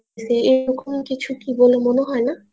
এরকম কিছু কি বলে মনে হয় না